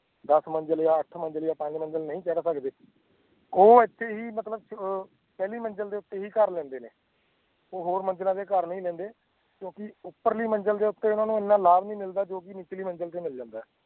ਦਸ ਮੰਜ਼ਿਲ ਜਾਂ ਅੱਠ ਮੰਜ਼ਿਲ ਜਾਂ ਪੰਜ ਮੰਜ਼ਿਲ ਨਹੀਂ ਚੜ੍ਹ ਸਕਦੇ, ਉਹ ਇੱਥੇ ਹੀ ਮਤਲਬ ਅਹ ਪਹਿਲੀ ਮੰਜ਼ਿਲ ਦੇ ਉੱਤੇ ਹੀ ਘਰ ਲੈਂਦੇ ਨੇ, ਉਹ ਹੋਰ ਮੰਜ਼ਿਲਾਂ ਤੇ ਘਰ ਨਹੀਂ ਲੈਂਦੇ, ਕਿਉਂਕਿ ਉਪਰਲੀ ਮੰਜ਼ਿਲ ਦੇ ਉੱਤੇ ਉਹਨਾਂ ਨੂੰ ਇੰਨਾ ਲਾਭ ਨਹੀਂ ਮਿਲਦਾ ਜੋ ਕਿ ਨੀਚਲੀ ਮੰਜ਼ਿਲ ਤੇ ਮਿਲ ਜਾਂਦਾ ਹੈ,